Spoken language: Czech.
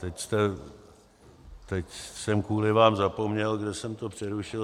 Teď jsem kvůli vám zapomněl, kde jsem to přerušil.